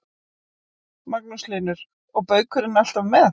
Magnús Hlynur: Og baukurinn alltaf með?